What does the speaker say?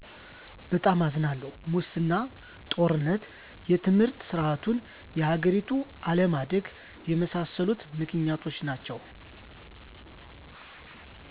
በጣም አዝናለሁ!! ሙሰና; ጦርነት; የትምህርት ሰርዓቱና የሀገሪቱ አለማደግ የመሣሠሉት ምክንያቶች ናቸዉ